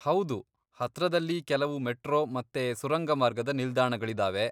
ಹೌದು, ಹತ್ರದಲ್ಲಿ ಕೆಲವು ಮೆಟ್ರೋ ಮತ್ತೆ ಸುರಂಗಮಾರ್ಗದ ನಿಲ್ದಾಣಗಳಿದಾವೆ.